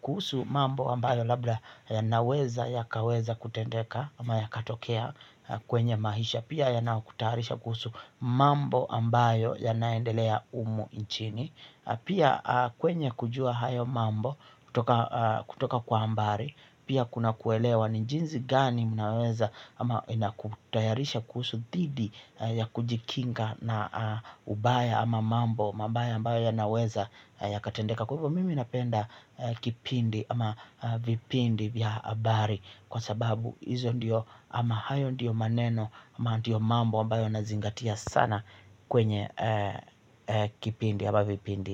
kuhusu mambo ambayo labda yanaweza yakaweza kutendeka ama yakatokea kwenye maisha. Pia yanakutaharisha kuhusu mambo ambayo yanaendelea humu nchini pia kwenye kujua hayo mambo kutoka kwa kutoka kwa hambari. Pia kuna kuelewa ni jinsi gani mnaweza ama inakutayarisha kuhusu dhidi ya kujikinga na ubaya ama mambo mabaya ambayo yanaweza yakatendeka kwa hivyo mimi napenda kipindi ama vipindi vya habari. Kwa sababu hizo ndiyo ama hayo ndiyo maneno ama ndiyo mambo ambayo nazingatia sana kwenye kipindi ama vipindi.